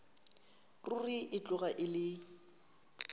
ruri e tloga e le